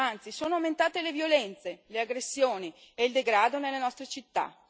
Anzi, sono aumentate le violenze, le aggressioni e il degrado nelle nostre città.